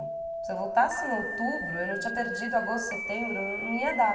Se eu voltasse em outubro, eu não tinha perdido agosto, setembro, não ia dar.